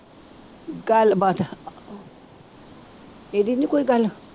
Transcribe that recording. ਗੱਲਬਾਤ ਇਹਦੀ ਨੀ ਕੋਈ ਗੱਲ